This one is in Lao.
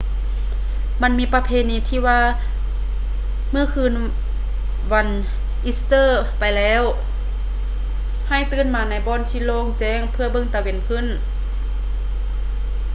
ມັນມີປະເພນີທີ່ວ່າ ເມື່ອຜ່ານຄືນວັນອີສເຕີໄປແລ້ວໃຫ້ຕື່ນມາໃນບ່ອນທີ່ໂລ່ງແຈ້ງເພື່ອເບິ່ງຕາເວັນຂຶ້ນ